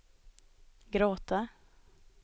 gråta